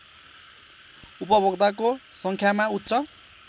उपभोक्ताको सङ्ख्यामा उच्च